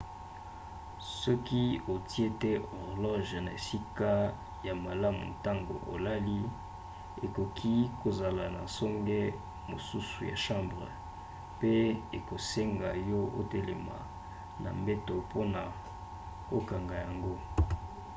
soki otie te horloge na esika ya malamu ntango olali ekoki kozala na songe mosusu ya chambre pe ekosenga yo otelema na mbeto mpona kokanga yango